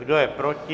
Kdo je proti?